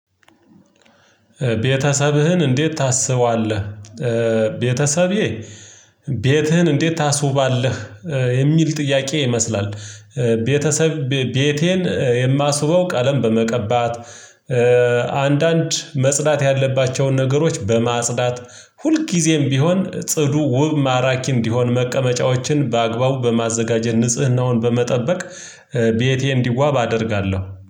ቤተሰብህን እንዴት ታስባለህ? ቤተሰቤ ቤትህን እንዴት ታስውባለህ? የሚል ጥያቄ ይመስላል ቤተሰብ ቤቴን የማስውበው ቀለም በመቀባት አንዳንድ መጽዳት ያለባቸውን ነገሮች በማጽዳት ሁልጊዜም ቢሆን ጽዱ ውብ ማራኪ እንዲሆን መቀመጫዎችን በአግባቡ በማዘጋጀት ንጽህናውን በመጠበቅ። ቤቴ እንዲዋብ አደርጋለሁ